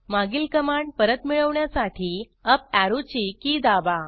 मागील कमांड परत मिळवण्यासाठी अप ऍरोची की दाबा